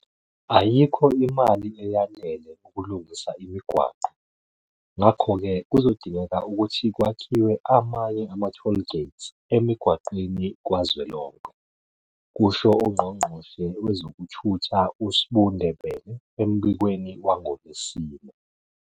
Ayikho imali eyanele ukulungisa imigwaqo, ngakho-ke kuzodingeka ukuthi kwakhiwe amanye ama-toll gates emigwaqweni kazwelonke, kusho uNgqongqoshe wezokuThutha uSbu Ndebele embikweni wangoLwesine.